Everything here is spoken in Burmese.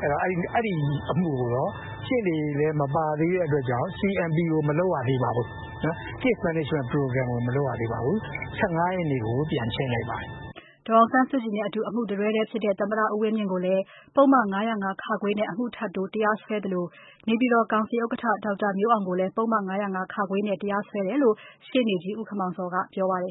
ဆိုတော့ အဲဒီအမှုကိုတော့ ရှေ့နေမပါသေးတဲ့အတွက်ကြောင့် CMP (Case Management Program) ကို မလုပ်ရသေးပါဘူး။ ၁၅ ရက်နေ့ကို ပြန်ချိန်းလိုက်ပါတယ်။" ဒေါ်အောင်ဆန်းစုကြည်နဲ့ အတူ အမှုတတွဲထဲဖြစ်တဲ့ သမ္မတဦးဝင်းမြင့်ကိုလည်း ပုဒ်မ ၅၀၅ နဲ့အမှုထပ်တိုး တရားစွဲသလို နေပြည်တော်ကောင်စီ ဥက္ကဋ္ဌ ဒေါက်တာမျိုးအောင်ကိုလည်း ပုဒ်မ ၅၀၅ နဲ့တရားစွဲတယ်လို့ ရှေ့နေကြီး ဦးခင်မောင်ဇော်က ပြောပါတယ